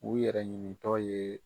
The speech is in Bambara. U yɛrɛ ɲinitɔ ye